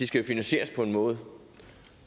skal jo finansieres på en måde